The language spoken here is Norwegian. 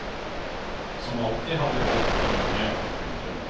Som alltid har vi valgt for mye. punktum